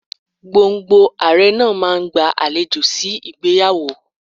Gbọ̀ǹgbọ̀ǹ Ààrẹ náà máa ń gba àlejò sí ìgbéyàwó.